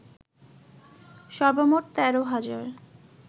সর্বমোট ১৩ হাজার